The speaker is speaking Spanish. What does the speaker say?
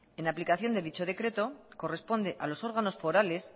en aplicación de dicho decreto corresponde a los órganos forales